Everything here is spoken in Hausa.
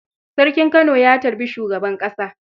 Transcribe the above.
Sarkin Kano ya tarbi shugaban ƙasa.